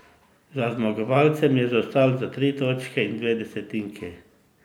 Za zmagovalcem je zaostal za tri točke in dve desetinki.